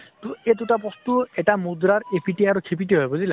তʼ এই দুটা বস্তু এটা মুদ্ৰাৰ ইপিঠি সিপিঠি হয় । বুজিলা।